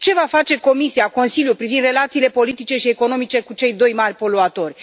Ce vor face Comisia, Consiliul privind relațiile politice și economice cu cei doi mari poluatori?